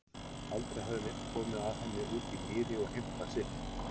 Aldrei hafði neinn komið að henni úti í mýri og heimtað sitt.